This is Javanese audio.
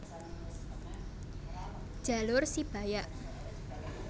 Jalur Sibayak